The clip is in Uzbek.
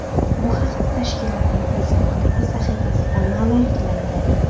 Bu haqda tashkilotning Facebook’dagi sahifasida ma’lum qilindi .